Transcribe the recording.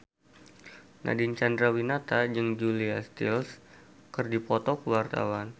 Nadine Chandrawinata jeung Julia Stiles keur dipoto ku wartawan